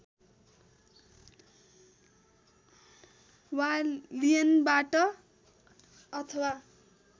वा लियनबाट अथवा